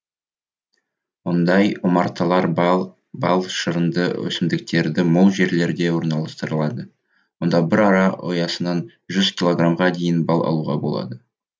ондай омарталар бал шырынды өсімдіктері мол жерлерде орналастырылады онда бір ара ұясынан жүз килограммға дейін бал алуға болады